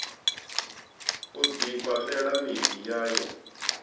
u ḓifha ṱela miḓi yayo